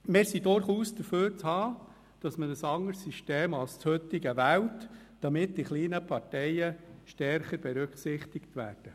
Wir sind durchaus dafür zu haben, dass man ein anderes System als das heutige wählt, damit die kleinen Parteien stärker berücksichtigt werden.